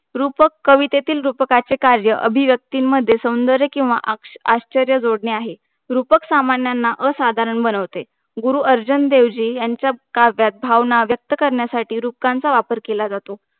रूपक कवितेतील रूपकाचे कार्य अभीव्यक्तीमध्ये सौंदर्य किंवा आ आश्चर्य जोडणे आहे. रूपक सामन्यांना असाधारण बनवते. गुरु अर्जुनदेवजी यांच्या काव्यात भावना व्यक्त करण्यासाठी रूपकांचा वापर केला जातो.